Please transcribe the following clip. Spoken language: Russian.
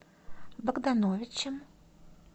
богдановичем